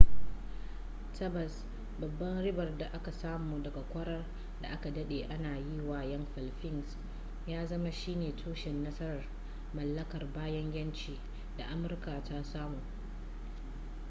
tabbas babban ribar da aka samu daga kwarar da aka dade ana yi wa 'yan filifins ya zama shi ne tushen nasarar mallakar bayan yanci da amurka ta samu